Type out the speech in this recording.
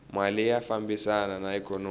mali ya fambisana na ikhonomi